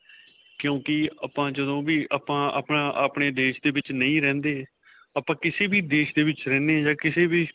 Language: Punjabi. ਕਿਉਂਕਿ ਆਪਾਂ ਜਦੋ ਵੀ ਆਪਾਂ ਆਪਣਾ, ਆਪਣੇ ਦੇਸ਼ ਦੇ ਵਿੱਚ ਨਹੀਂ ਰਹਿੰਦੇ ਆਪਾਂ ਕਿਸੇ ਵੀ ਦੇਸ਼ ਦੇ ਵਿੱਚ ਰਹਿਨੇ ਹਾਂ ਜਾਂ ਕਿਸੇ ਵੀ.